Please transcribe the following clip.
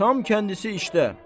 Tam kəndisi işdə.